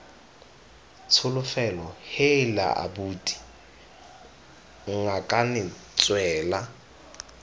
tsholofelo heela abuti ngakane tswela